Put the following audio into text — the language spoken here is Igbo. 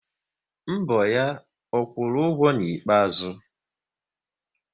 Mbọ ya, ọ kwụrụ ụgwọ n'ikpeazụ?